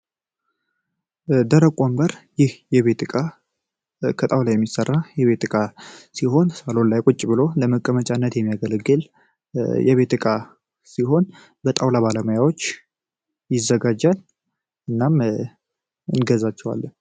ደረቅ ወንበር ይህ የቤት ዕቃው ላይ የሚሰራው የቤት ጥቃት ሲሆን ላይ ቁጭ ብሎ ለመቀመጫነት የሚያገለግል የቤት ዕቃ ሲሆን በጠቅላላ ባለሙያዎች ይዘጋጃል እናም እንገዛቸዋለን